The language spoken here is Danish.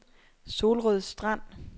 Solrød Strand